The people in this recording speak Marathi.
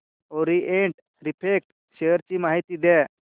ओरिएंट रिफ्रॅक्ट शेअर ची माहिती द्या